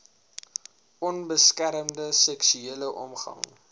onbeskermde seksuele omgang